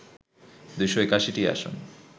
২৮১টি আসন